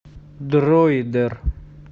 дроидер